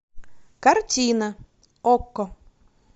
картина окко